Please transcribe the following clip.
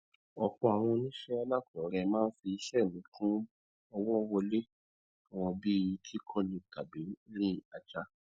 ọpọ àwọn oníṣẹ alákọọrẹ máa ń fi iṣẹ míì kún owó wọlé wọn bíi kíkọni tàbí rìn ajá